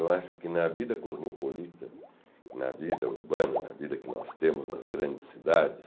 Eu acho que na vida cosmopolita, na vida urbana, na vida que nós temos nas grandes cidades,